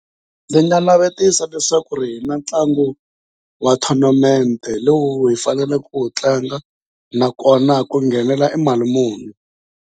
Ndzi nga navetisa leswaku hi na ntlangu wa tournament lowu hi faneleke ku wu tlanga nakona ku nghenela i mali muni.